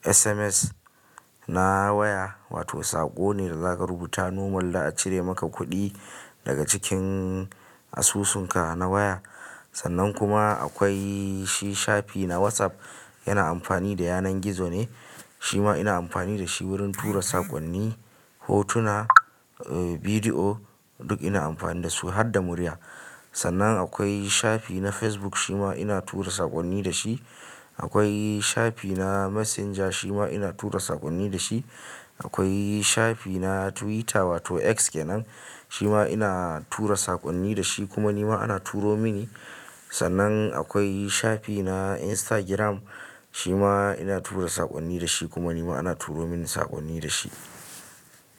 SMS na waya, wato saƙo ne da zaka rubuta nomal za a cire maka kuɗi daga cikin asusunka na waya. Sannan kuma akwai shi shafi na WhatsApp yana amfani da yanar gizo ne, shi ma ina amfani da shi wurin tura saƙonni, hotuna, uh video duk ina amfani da su har da murya. Sannan akwai shafi na Facebook shi ma ina tura saƙonni da shi. Akwai shafi na Messenger shi ma ina tura saƙonni da shi. Akwai shafi na Twitter wato X kenan, shi ina tura saƙonni da shi kuma ni ma ana turo mini. Sannan akwai shafi na Instagram shi ma ina tura saƙonni da shi kuma ni ma ana turo mini saƙonni da shi.